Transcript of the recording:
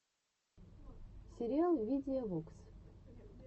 сериал видия вокс